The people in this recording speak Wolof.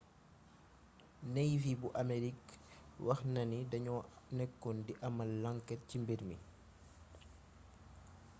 navy bu amerik wax na ni dañoo nekkoon di amal lanket ci mbir mi